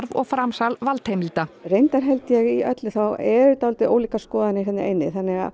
og framsal valdheimilda reyndar held ég í öllu þá eru þetta dálítið ólíkar skoðanir hérna inni